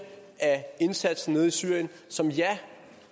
af indsatsen nede i syrien som ja